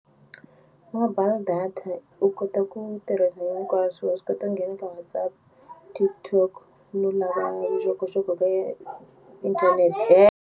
Mobile data u kota ku tirhisa hinkwaswo wa swi kota nghena ka WhatsApp TikTok no lava vuxokoxoko inthanete .